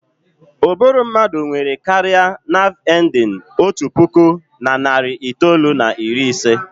Ụbụrụ mmadụ nwere karịa naav endin otu puku na narị itoolu na iri ise.